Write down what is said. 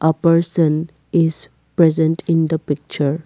person is present in the picture.